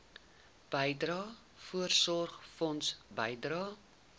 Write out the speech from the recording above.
bydrae voorsorgfonds bydrae